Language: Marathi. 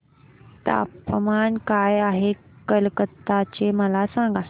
तापमान काय आहे कलकत्ता चे मला सांगा